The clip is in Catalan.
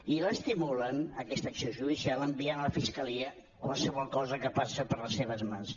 i l’estimulen aquesta acció judicial enviant a la fiscalia qualsevol cosa que passa per les seves mans